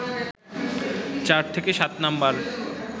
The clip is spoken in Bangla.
৪ থেকে ৭ নম্বর